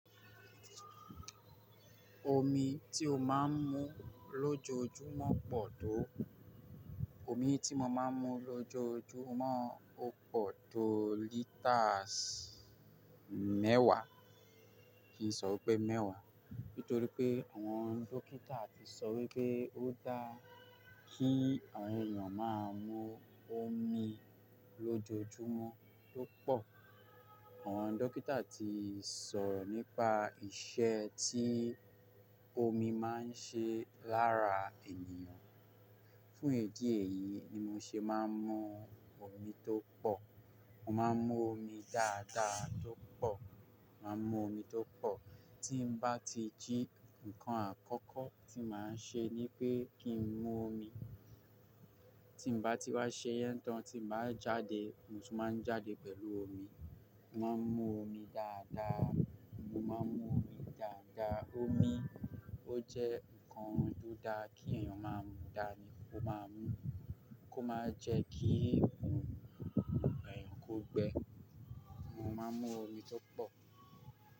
Omi tí o máa ń mu lójoojúmọ́ pọ̀ tó? Omi tí mo máa ń mu lójoojúmọ́ ó pọ̀ tó liters mẹ́wàá. Kì í sọ wí pé mẹ́wàá. Nítorí pé àwọn dókítà ti sọ wí pé ó dáa kí àwọn ènìyàn máa mu omi lójoojúmọ́ tó pọ̀. Àwọn dókítà ti sọ̀rọ̀ nípa iṣẹ́ tí omi máa ń ṣe lára ènìyàn. Fún ìdí èyí ni mo ṣe máa ń mu omi tó pọ̀. Mo máa ń mu omi dáadáa tó pọ̀. Mo máa ń mu omi tó pọ̀. Tí mo bá ti jí nǹkan àkọ́kọ́ tí màá ṣe ni pé kí n mu omi. Tí mo bá ti wá ṣe yan tán, tí màá jáde, mo tún máa ń jáde pẹ̀lú omi. Mo máa ń mu omi dáadáa. Mo máa ń mu omi dáadáa. Omi ó jẹ́ nǹkan tó dáa kí èèyàn máa mu. Dání, ó máa mú kó máa jẹ díẹ̀ kún èèyàn kó gbẹ. Mo máa mú omi tó pò.